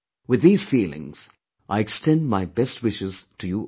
With these feelings, I extend my best wishes to you all